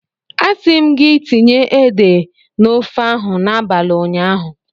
A si m gi tinye ede na ofe ahu n'abali unyaahu.